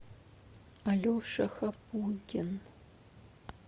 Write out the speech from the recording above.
алеша хапугин